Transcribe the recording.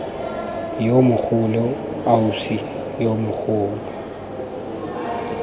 yo mogolo ausi yo mogolo